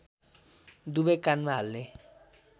दुबै कानमा हाल्ने